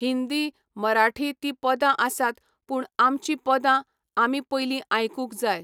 हिंदी, मराठी तीं पदां आसात पूण आमचीं पदां आमी पयलीं आयकूंक जाय.